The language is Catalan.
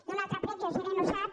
i un altre prec i el gerent ho sap